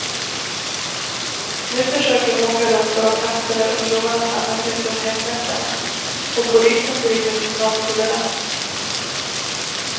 Nu försöker de åka runt på de platser där ungdomarna samlas ute om helgnätterna, och polisen driver sin nolltolerans.